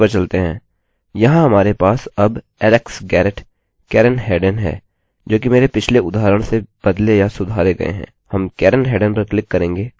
यहाँ हमारे पास अब alex garrett karen headen है जोकि मेरे पिछले उदाहरण से बदले या सुधारे गये हैं